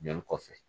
Joli kɔfɛ